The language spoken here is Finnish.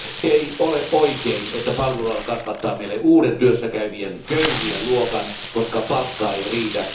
Ei ole oikein, että palveluala kasvattaa meille uuden työssäkäyvien köyhien luokan, koska palkka ei riitä...